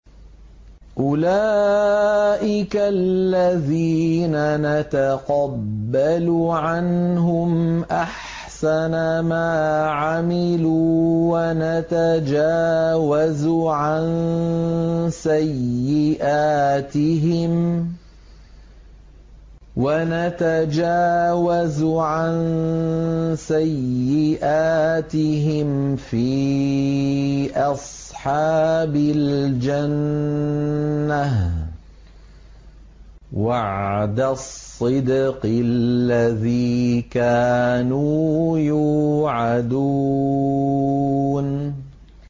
أُولَٰئِكَ الَّذِينَ نَتَقَبَّلُ عَنْهُمْ أَحْسَنَ مَا عَمِلُوا وَنَتَجَاوَزُ عَن سَيِّئَاتِهِمْ فِي أَصْحَابِ الْجَنَّةِ ۖ وَعْدَ الصِّدْقِ الَّذِي كَانُوا يُوعَدُونَ